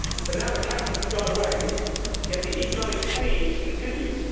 Now the cameras have gone away, yet the economic siege continues.